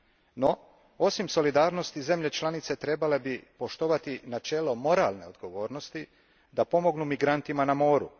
No, osim solidarnosti zemlje članice bi trebale poštovati načelo moralne odgovornosti da pomognu migrantima na moru.